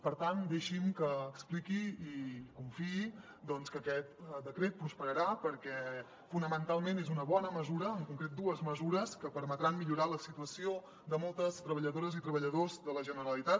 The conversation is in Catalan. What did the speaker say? per tant deixin me que expliqui i confiï doncs que aquest decret prosperarà perquè fonamentalment és una bona mesura en concret dues mesures que permetran millorar la situació de moltes treballadores i treballadors de la generalitat